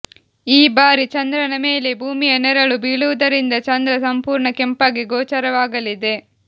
ಈ ಬಾರಿ ಚಂದ್ರನ ಮೇಲೆ ಭೂಮಿಯ ನೆರಳು ಬೀಳುವುದರಿಂದ ಚಂದ್ರ ಸಂಪೂರ್ಣ ಕೆಂಪಾಗಿ ಗೋಚರವಾಗಲಿದೆ